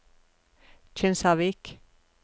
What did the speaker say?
Kinsarvik